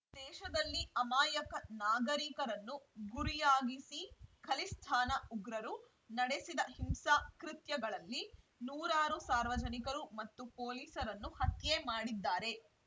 ದೇಶದಲ್ಲಿ ಅಮಾಯಕ ನಾಗರಿಕರನ್ನು ಗುರಿಯಾಗಿಸಿ ಖಲಿಸ್ತಾನ ಉಗ್ರರು ನಡೆಸಿದ ಹಿಂಸಾ ಕೃತ್ಯಗಳಲ್ಲಿ ನೂರಾರು ಸಾರ್ವಜನಿಕರು ಮತ್ತು ಪೊಲೀಸರನ್ನು ಹತ್ಯೆ ಮಾಡಿದ್ದಾರೆ